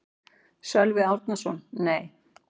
Sölvi Árnason: Nei.